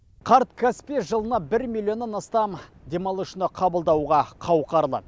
қарт каспий жылына бір миллионнан астам демалушыны қабылдауға қауқарлы